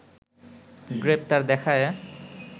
গ্রেপ্তার দেখায়ে